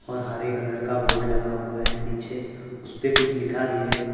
और हरे कलर का बोर्ड लगा हुआ है पीछे उसपे कुछ लिखा भी है।